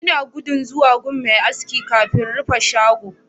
Ina gudu zuwa gun Mai aski kafin rufe shago